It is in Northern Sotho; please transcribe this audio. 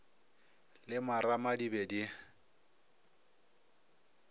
le marama di be di